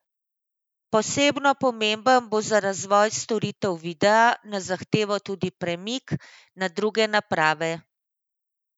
Posebno pomemben bo za razvoj storitev videa na zahtevo tudi premik na druge naprave.